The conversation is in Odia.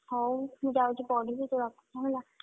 ହଉ ମୁଁ ଯାଉଚି ପଢିବି। ତୁ ରଖ୍ ହେଲା।